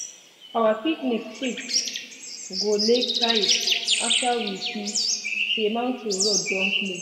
our picnic shift go lake side after we see say mountain road don close.